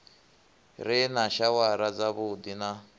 re na shawara dzavhuddi na